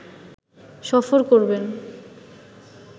সফর করবেন